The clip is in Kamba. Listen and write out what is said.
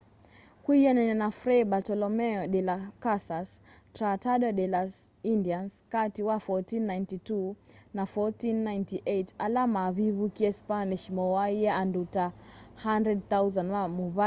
kwianana na fray bartolome de las casas tratado de las indians kati wa 1492 na 1498 ala mavivukiie spanish mooaie andu ta 100,000 ma muvai wa tainos